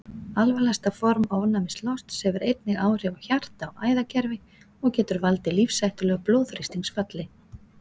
Alvarlegasta form ofnæmislosts hefur einnig áhrif á hjarta- og æðakerfi og getur valdið lífshættulegu blóðþrýstingsfalli.